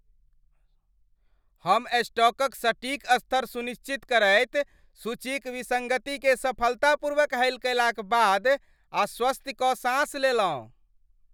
हम स्टॉकक सटीक स्तर सुनिश्चित करैत सूचीक विसङ्गतिकेँ सफलतापूर्वक हल कयलाक बाद आश्वस्ति क साँस लेलहुँ।